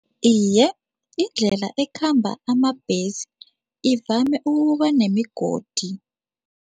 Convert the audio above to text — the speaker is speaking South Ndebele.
Iye, indlela ekhamba amabhesi ivame ukuba nemigodi.